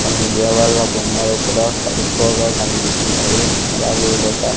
కొన్ని దేవళ్ల బొమ్మలు కూడా ఎక్కువగా కనిపిస్తున్నాయి అలాగే ఇదొక--